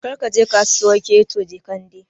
Kar ka je Kasuwar Keto Jekande!